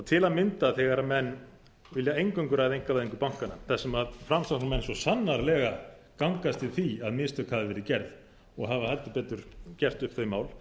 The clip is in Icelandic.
til að mynda þegar menn vilja eingöngu ræða einkavæðingu bankanna þar sem framsóknarmenn svo sannarlega gangast við því að mistök hafi verið gerð og hafa heldur betur gert upp þau mál